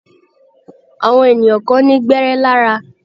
Àwọn ènìyàn kan ní gbẹ́érẹ́ lára.